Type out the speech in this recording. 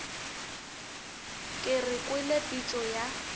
ke re kwele pitšo ya